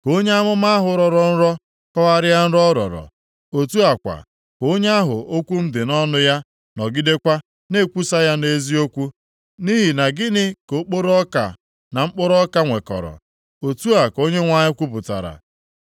Ka onye amụma ahụ rọrọ nrọ kọgharịa nro ọ rọrọ. Otu a kwa, ka onye ahụ okwu m dị nʼọnụ ya nọgidekwa na-ekwusa ya nʼeziokwu. Nʼihi na gịnị ka okporo ọka na mkpụrụ ọka nwekọrọ?” Otu a ka Onyenwe anyị kwupụtara.